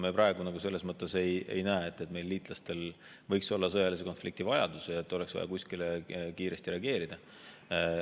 Me praegu selles mõttes ei näe, et meie liitlastel võiks ees olla sõjaline konflikt ja et oleks vaja kiiresti reageerida.